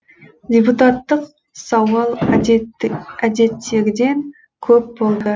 депутаттық сауал әдеттегіден көп болды